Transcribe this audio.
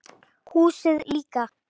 Húsið líka.